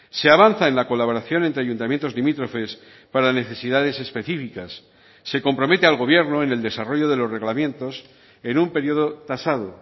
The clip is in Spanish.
se avanza en la colaboración entre ayuntamientos limítrofes para necesidades específicas se compromete al gobierno en el desarrollo de los reglamentos en un periodo tasado